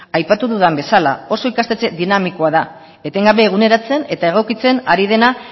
aipatu dudan bezala oso ikastetxe dinamikoa da etengabe eguneratzen eta egokitzen ari dena